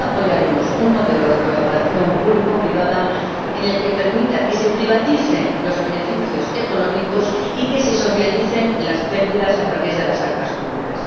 Nunca apoyaremos un modelo de colaboración público privada que permita que se privaticen los beneficios económicos y que se socialicen las pérdidas a través de las arcas públicas.